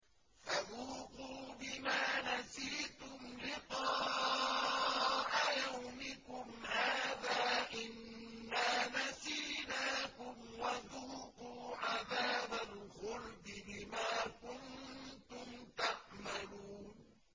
فَذُوقُوا بِمَا نَسِيتُمْ لِقَاءَ يَوْمِكُمْ هَٰذَا إِنَّا نَسِينَاكُمْ ۖ وَذُوقُوا عَذَابَ الْخُلْدِ بِمَا كُنتُمْ تَعْمَلُونَ